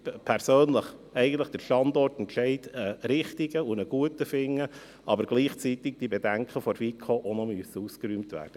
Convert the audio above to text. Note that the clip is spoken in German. Persönlich finde ich den Standortentscheid richtig und gut, aber gleichzeitig müssen die Bedenken der FiKo ausgeräumt werden.